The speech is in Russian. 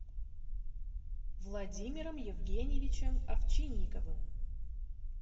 владимиром евгеньевичем овчинниковым